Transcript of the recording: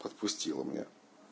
отпустила меня